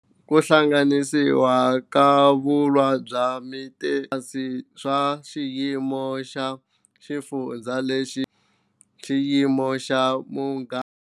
Ku hangalasiwa ka vulawuri bya Vietnam ku katsa swiyimo swa 3-xiyimo xa xifundzankulu na lexi ringanaka, xiyimo xa muganga na lexi ringanaka, xiyimo xa commune na lexi ringanaka.